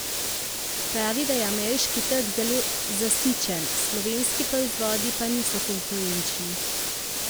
Pravi, da je ameriški trg zelo zasičen, slovenski proizvodi pa niso konkurenčni.